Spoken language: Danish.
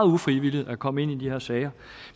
ufrivilligt er kommet ind i de her sager